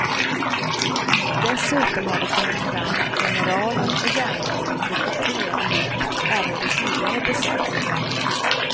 Dessutom har det kommit fram att generalen och järnladyn druckit te ihop även vid tidigare besök.